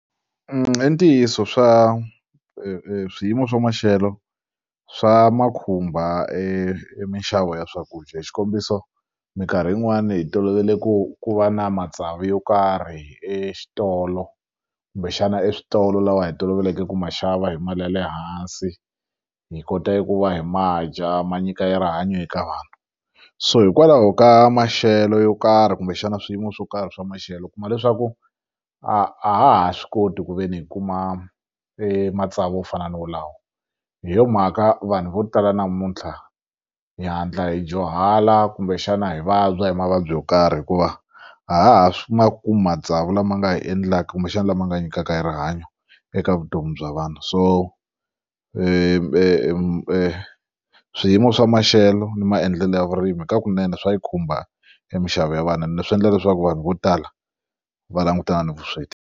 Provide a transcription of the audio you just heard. I ntiyiso swa swiyimo swa maxelo swa ma khumba e minxavo ya swakudya hi xikombiso minkarhi yin'wani hi tolovele ku ku va na matsavu yo karhi exitolo kumbexana eswitolo lawa hi toloveleke ku ma xava hi mali ya le hansi hi kota ku va hi ma dya ma nyika ya rihanyo eka vanhu so hikwalaho ka maxelo yo karhi kumbexana swiyimo swo karhi swa maxelo u kuma leswaku a ha ha swi koti ku ve ni hi kuma e matsavu yo fana no wolawo hi yo mhaka vanhu vo tala namuntlha hi hatla hi dyuhala kumbexana hi vabya hi mavabyi yo karhi hikuva a ha ha ma kumi matsavu lama nga hi endlaka kumbexana lama nga nyikaka erihanyo eka vutomi bya vanhu so swiyimo swa maxelo ni maendlelo ya vurimi hi ka kunene swa yi khumba minxavo ya vana na swi endla leswaku vanhu vo tala va langutana ni vusweti.